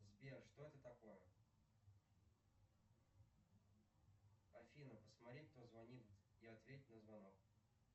сбер что это такое афина посмотри кто звонит и ответь на звонок